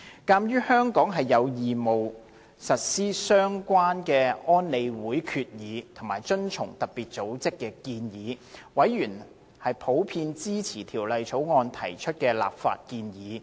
鑒於香港有義務實施相關的安理會決議，以及遵從特別組織的建議，委員普遍支持《條例草案》提出的立法建議。